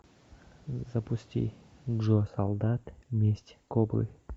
запусти джо солдат месть кобры